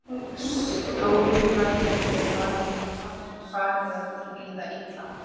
Stóragerði var mér farið að líða illa.